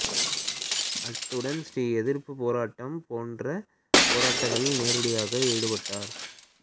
அத்துடன் ஸ்ரீ எதிர்ப்புப் போராட்டம் போன்ற போராட்டங்களில் நேரடியாக ஈடுபட்டார்